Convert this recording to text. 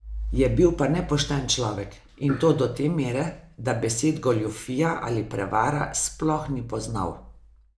Je bil pa nepošten človek in to do te mere, da besed goljufija ali prevara sploh ni poznal.